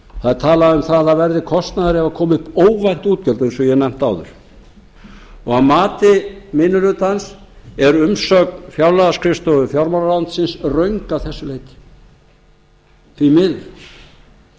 það er talað um að það verði kostnaður ef það koma upp óvænt útgjöld eins og ég hef nefnt áður að mati minni hlutans er umsögn fjárlagaskrifstofu fjármálaráðuneytisins röng að þessu leyti því